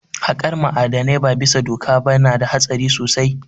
Haƙar ma'adanai ba bisa doka ba na da hatsari sosai